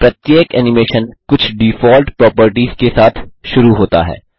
प्रत्येक एनिमेशन कुछ default properties के साथ शुरू होता है